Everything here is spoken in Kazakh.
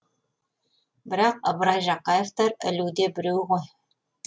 бірақ ыбырай жақаевтар ілуде біреу ғой